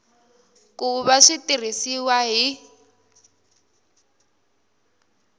ku va swi tirhisiwa hi